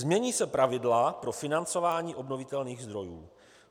Změní se pravidla pro financování obnovitelných zdrojů.